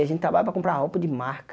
A gente trabalha para comprar roupa de marca.